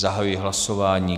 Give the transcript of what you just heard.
Zahajuji hlasování.